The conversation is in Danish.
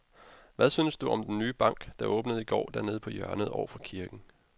Hvad synes du om den nye bank, der åbnede i går dernede på hjørnet over for kirken?